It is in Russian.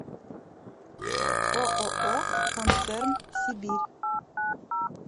ооо концерн сибирь